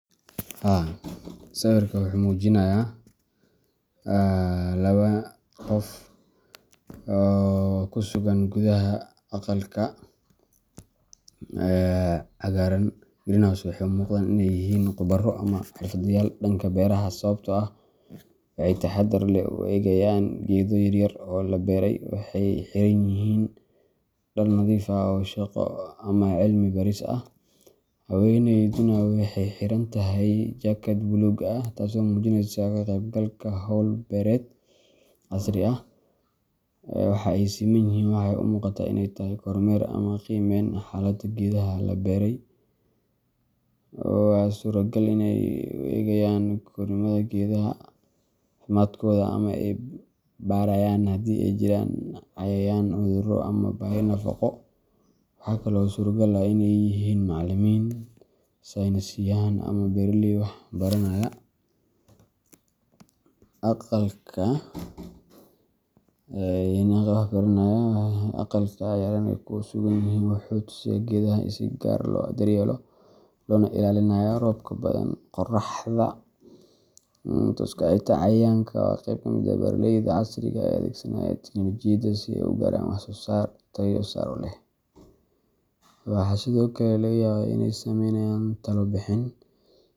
Sawirku wuxuu muujinayaa laba nin iyo hal haweeney oo ku sugan gudaha aqalka cagaaran greenhouse. Waxay u muuqdaan inay yihiin khubaro ama xirfadlayaal dhanka beeraha ah, sababtoo ah waxay si taxaddar leh u eegayaan geedo yaryar oo la beeray. Waxay xiran yihiin dhar nadiif ah oo shaqo ama cilmi baaris ah , haweeneyduna waxaay xiran tahay jaakad bulug ah, taasoo muujineysa ka qeybgalka hawl beereed casri ah. Waxa ay simanyihin waxay u muuqataa in ay tahay kormeer ama qiimeyn xaaladda geedaha la beelay. Waxaa suuragal ah in ay eegayaan korriimada geedaha, caafimaadkooda, ama ay baarayaan hadii ay jiraan cayayaan, cudurro ama baahi nafaqo. Waxaa kale oo suuragal ah in ay yihiin macallimiin, saynisyahann, ama beeraley wax baranaya. Aqalka cagaaran ee ay ku sugan yihiin wuxuu kaa tusayaa in geedahaas si gaar ah loo daryeelayo, loogana ilaalinayo roobka badan, qorraxda tooska ah ama xitaa cayayaanka. Waa qayb ka mid ah beeraleyda casriga ah ee adeegsanaya tignoolajiyada si ay u gaaraan wax-soosaar tayo sare leh. Waxaa sidoo kale laga yaabaa in ay sameynayaan talo bixin.